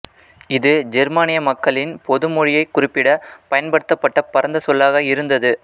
இது ஜெர்மானிய மக்களின் பொதுமொழியைக் குறிப்பிட பயன்படுத்தப்பட்ட பரந்த சொல்லாக இருந்தது